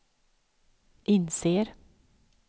inser